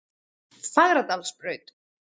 Fagradalsbraut